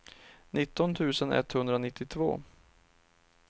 nitton tusen etthundranittiotvå